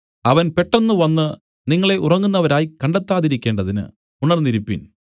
അവൻ പെട്ടെന്ന് വന്നു നിങ്ങളെ ഉറങ്ങുന്നവരായി കണ്ടെത്താതിരിക്കേണ്ടതിന് ഉണർന്നിരിപ്പിൻ